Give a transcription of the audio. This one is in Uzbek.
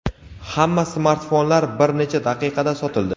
hamma smartfonlar bir necha daqiqada sotildi.